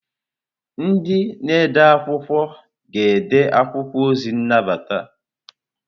Ndị na ede akwụkwọ ga-ede akwụkwọ ozi nnabata.